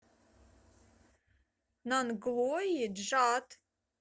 нанглои джат